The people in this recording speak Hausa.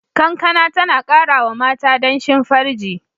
Kankana tana kara wa mata danshin farji.